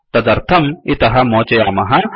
तदर्थं इतः मोचयामः